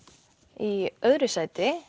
í öðru sæti